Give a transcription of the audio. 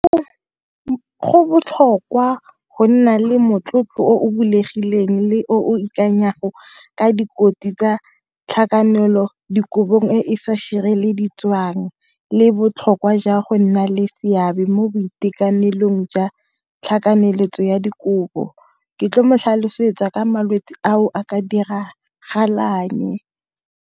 Go botlhokwa go nna le motlotlo o o bulegileng le wa boikanyego ka tsa tlhakanelodikobo e e sa le botlhokwa jwa go nna le seabe mo boitekanelong jwa tlhakaneletso dikobo. Ke tlile go motlhalosetsa ka malwetsi a a ka diragalang.